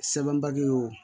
Sɛbɛn baki ye o